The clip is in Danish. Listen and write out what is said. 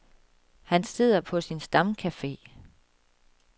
Han sidder på sin stamcafe.